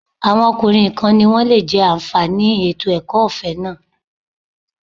Àwọn ọkùnrin nìkan ni wọ́n lè jẹ́ àǹfààní ètò ẹ̀kọ́ ọ̀fẹ́ náà